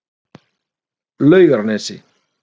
Laugarnesi